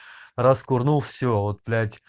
раз курнул все вот блять